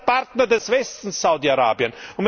Das ist der Partner des Westens, Saudi Arabien!